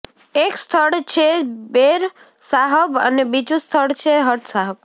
એક સ્થળ છે બેરસાહબ અને બીજું સ્થળ છે હટસાહબ